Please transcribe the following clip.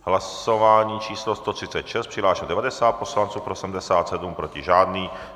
Hlasování číslo 136, přihlášeno 90 poslanců, pro 77, proti žádný.